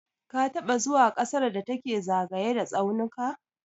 Ka taɓa zuwa ƙasar da take zagaye da tsaunuka?